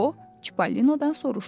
O Çipallinodan soruşdu.